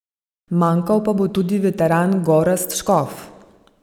Manjkal pa bo tudi veteran Gorazd Škof.